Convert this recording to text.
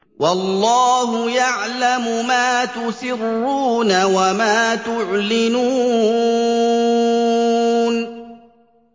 وَاللَّهُ يَعْلَمُ مَا تُسِرُّونَ وَمَا تُعْلِنُونَ